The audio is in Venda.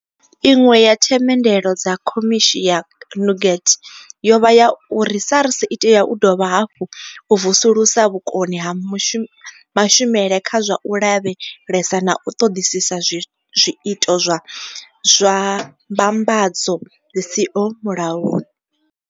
Iṅwe ya themendelo dza khomishi ya Nugent yo vha ya uri SARS i tea u dovha hafhu ya vusulusa vhukoni ha mashumele kha zwa u lavhelesa na u ṱoḓisisa zwiito zwa mbambadzo dzi siho mulayoni.